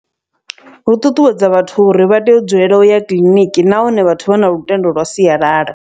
Hu ṱuṱuwedza vhathu uri vha tea u dzulela u ya kiḽiniki nahone vhathu vha na lutendo lwa sialala.